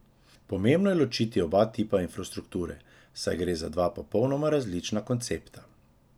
Pomembno je ločiti oba tipa infrastrukture, saj gre za dva popolnoma različna koncepta.